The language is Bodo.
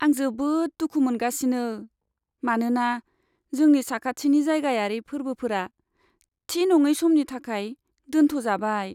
आं जोबोद दुखु मोनगासिनो, मानोना जोंनि साखाथिनि जायगायारि फोर्बोफोरा थि नङै समनि थाखाय दोनथ'जाबाय।